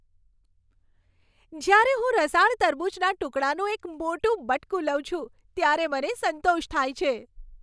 જ્યારે હું રસાળ તરબૂચના ટુકડાનું એક મોટું બટકું લઉં છું ત્યારે મને સંતોષ થાય છે.